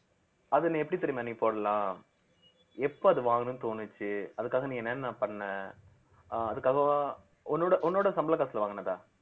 அது நீ எப்படி தெரியுமா நீ போடலாம் எப்ப அது வாங்கணும்னு தோணுச்சு அதுக்காக நீ என்னென்ன பண்ண அஹ் அதுக்காகவா உன்னோட உன்னோட சம்பள காசுல வாங்குனதா